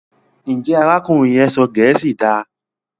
Njé arákùnrin yén sọ gèésì dá?